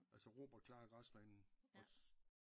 Altså Robert klarer græsplænen også